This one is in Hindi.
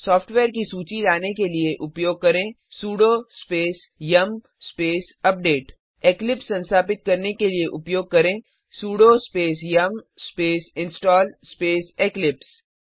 सॉफ्टेवेयर की सूची लाने के लिए उपयोग करें sudo space yum space update eclipse संस्थापित करने के लिए उपयोग करें sudo space yum space install space Eclipse